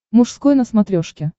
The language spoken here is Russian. мужской на смотрешке